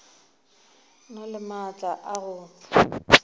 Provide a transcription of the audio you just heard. na le maatla a go